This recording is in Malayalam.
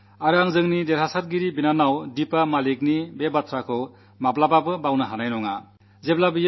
ഞാൻ നമ്മുടെ വിജയിയായ സഹോദരി ദീപാ മലിക്കിന്റെ വാക്കുകൾ മറക്കില്ല